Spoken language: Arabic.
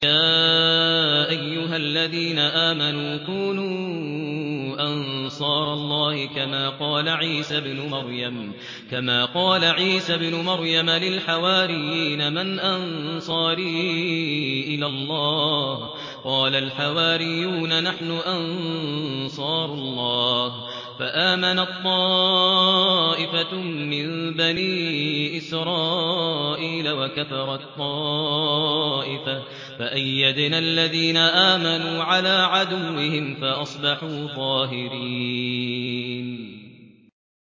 يَا أَيُّهَا الَّذِينَ آمَنُوا كُونُوا أَنصَارَ اللَّهِ كَمَا قَالَ عِيسَى ابْنُ مَرْيَمَ لِلْحَوَارِيِّينَ مَنْ أَنصَارِي إِلَى اللَّهِ ۖ قَالَ الْحَوَارِيُّونَ نَحْنُ أَنصَارُ اللَّهِ ۖ فَآمَنَت طَّائِفَةٌ مِّن بَنِي إِسْرَائِيلَ وَكَفَرَت طَّائِفَةٌ ۖ فَأَيَّدْنَا الَّذِينَ آمَنُوا عَلَىٰ عَدُوِّهِمْ فَأَصْبَحُوا ظَاهِرِينَ